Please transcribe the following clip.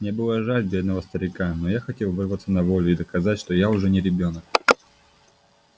мне было жаль бедного старика но я хотел вырваться на волю и доказать что я уже не ребёнок